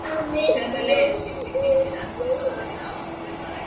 Sömuleiðis gisti Kristín eldri dóttir mín ásamt Gunnari